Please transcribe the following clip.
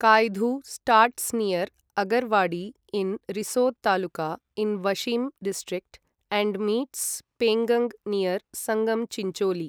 Kayadhu starts near Agarwadi in Risod taluka in Washim district and meets Penganga near Sangam Chincholi